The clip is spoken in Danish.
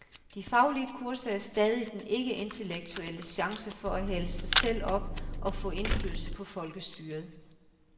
De faglige kurser er stadig den ikke-intellektuelles chancer for at hale sig selv op og få indflydelse på folkestyret.